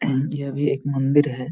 अहम यह भी एक मंदिर है|